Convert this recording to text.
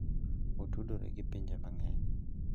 Otudore gi pinje mang'eny.